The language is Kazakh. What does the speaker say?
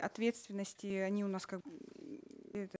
ответственности они у нас как это